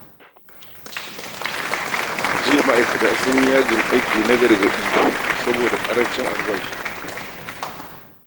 Jiya ma'aikata sun yi yajin aiki na gargaɗi saboda ƙarancin albashi